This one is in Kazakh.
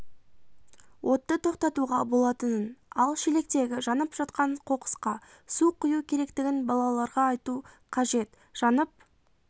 отты тоқтатуға болатынын ал шелектегі жанып жатқан қоқысқа су құю керектігін балаларға айту қажет жанып